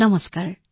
নমস্কাৰ